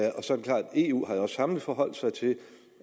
eu også samlet har forholdt sig til